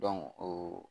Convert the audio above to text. o